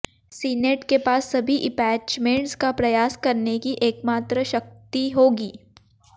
senate के पास सभी इंपैचमेंट्स का प्रयास करने की एकमात्र शक्ति होगी